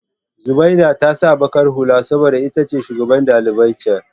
Zubaida ta sa baƙar hula saboda ita shugaban dalibai ce.